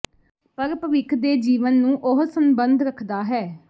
ਪਰ ਭਵਿੱਖ ਦੇ ਜੀਵਨ ਨੂੰ ਉਹ ਸੰਬੰਧ ਰੱਖਦਾ ਹੈ